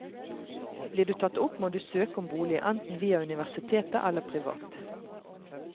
Blir du tatt opp må du søke om bolig, enten via universitetet eller privat.